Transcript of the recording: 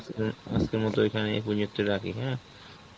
উম আজকের মত এখানে এই পর্যন্তই রাখি হ্যাঁ?